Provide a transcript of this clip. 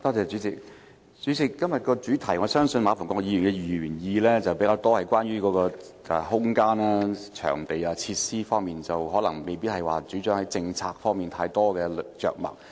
主席，我相信馬逢國議員的議案較側重於空間、場地、設施方面，而政策方面的主張未有太多着墨。